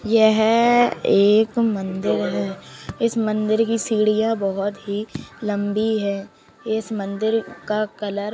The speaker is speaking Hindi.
यह एक मंदिर है इस मंदिर की सीढ़ियां बोहोत ही लंबी हैं। इस मंदिर का कलर --